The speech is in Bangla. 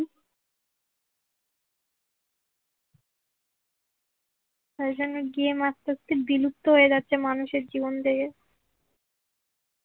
তাই জন্য বিয়ে আস্তে আস্তে বিলুপ্ত হয়ে যাচ্ছে মানুষের জীবন থেকে